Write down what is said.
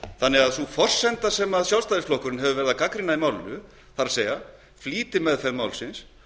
ekki gera það sú forsenda sem sjálfstæðisflokkurinn hefur verið að gagnrýna í málinu það er flýtimeðferð málsins